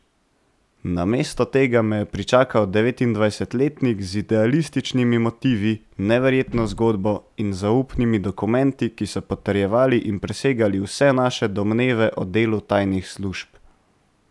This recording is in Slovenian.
Namesto tega me je pričakal devetindvajsetletnik z idealističnimi motivi, neverjetno zgodbo in zaupnimi dokumenti, ki so potrjevali in presegali vse naše domneve o delu tajnih služb.